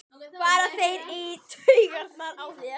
fara þeir í taugarnar á þér?